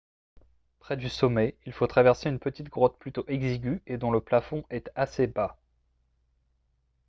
près du sommet il faut traverser une petite grotte plutôt exiguë et dont le plafond est assez bas